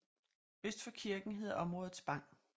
Øst for kirken hedder området Spang